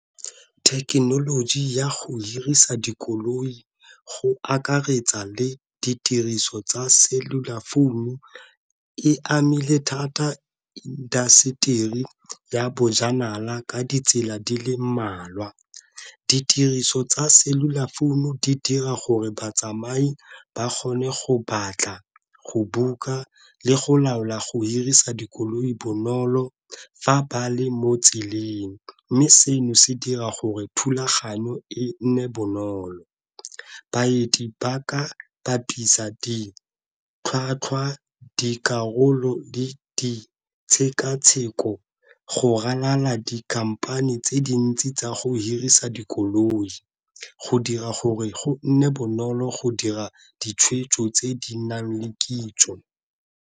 Thekenoloji ya go hirisa dikoloi go akaretsa le ditiriso tsa selula founu e amile thata indaseteri ya bojanala ka ditsela di le mmalwa. Ditiriso tsa selula founu di dira gore batsamai ba kgone go batla go buka, le go laola go hirisa dikoloi bonolo fa ba le mo tseleng. Mme seno se dira gore thulaganyo e nne bonolo, baeti ba ka bapisa di tlhwatlhwa, dikarolo le di tshekatsheko go ralala dikhamphane tse dintsi tsa go hirisa dikoloi, go dira gore go nne bonolo go dira ditshwetso tse di nang le kitso.